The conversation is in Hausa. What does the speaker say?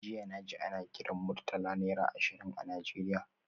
Jiya naji ana kiran Murtala naira ashirin a Nigeria